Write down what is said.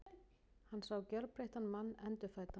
Hann sá gjörbreyttan mann, endurfæddan.